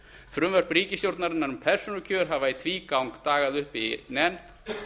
frumvörp ríkisstjórnarinnar um persónukjör hafa í tvígang dagað upp í nefnd